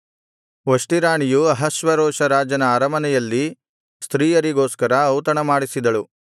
ವಷ್ಟಿ ರಾಣಿಯೂ ಅಹಷ್ವೇರೋಷ ರಾಜನ ಅರಮನೆಯಲ್ಲಿ ಸ್ತ್ರೀಯರಿಗೋಸ್ಕರ ಔತಣಮಾಡಿಸಿದಳು